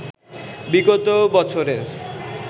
বিগত বছরের